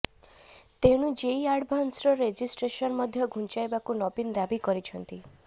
ତେଣୁ JEE advanced registration ମଧ୍ୟ ଘୁଞ୍ଚାଇବାକୁ ନବୀନ ଦାବି କରିଛନ୍ତି